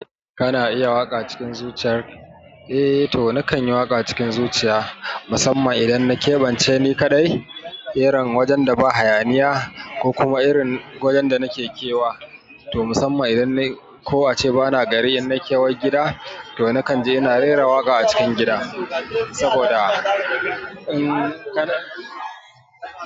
Kana iya waƙa cikin zuciya? Eh to nakanyi waƙa cikin zuciya, musamman idanna keɓance ni kaɗai, irin wajenda ba hayaniya ko kuma irin wajenda nake kewa. To musamman idan nayi ko ace bana gari innai kewan gida, to nakanje ina rera waƙa a cikin gida, saboda in.